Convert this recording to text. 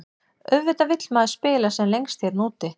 Auðvitað vill maður spila sem lengst hérna úti.